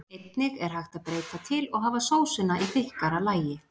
Einnig er hægt að breyta til og hafa sósuna í þykkara lagi.